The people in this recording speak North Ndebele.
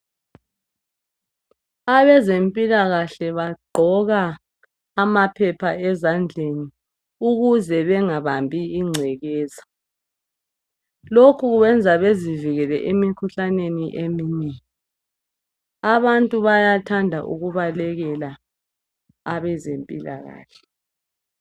Abezempilakahle bagqoka amaphepha ezandleni ukuze bengabambi ingcekeza lokhu kwenza bezivikele emikhuhlaneni eminengi abantu bayathanda ukubalekela abezempilakahle